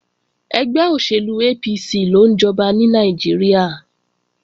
Ẹgbẹ́ òṣèlú APC ló ń jọba ní Nàìjíríà